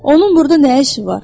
Onun burda nə işi var?